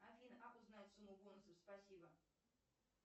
афина как узнать сумму бонусов спасибо